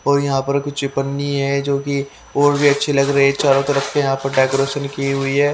और यहां पर कुछ पन्नी है जोकि और भी अच्छी लग रही है चारों तरफ यहां प डेकोरेशन की हुई है।